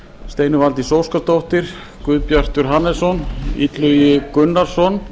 steinunn valdís óskarsdóttir guðbjartur hannesson illugi gunnarsson